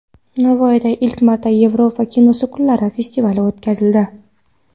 Navoiyda ilk marta Yevropa kinosi kunlari festivali o‘tkazildi.